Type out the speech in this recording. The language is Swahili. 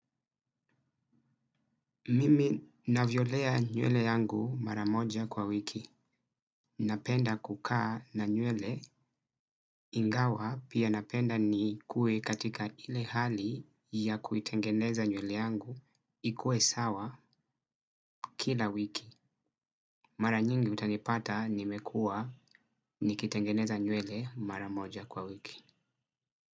Mimi navyolea nywele yangu mara moja kwa wiki. Napenda kukaa na nywele ingawa pia napenda nikue katika ile hali ya kuitengeneza nywele yangu ikue sawa kila wiki. Mara nyingi utanipata nimekua nikitengeneza nywele mara moja kwa wiki.